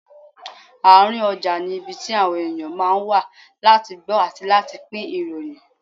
Àárín ọjà ni ibi tí àwọn ènìyàn ma ń wá láti gbọ́ àti láti pín ìròyìn.